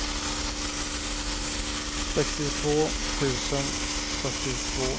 sextiotvå tusen fyrtiotvå